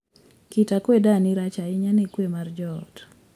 Kit akwedani rach ahinya ne kwe mar joot.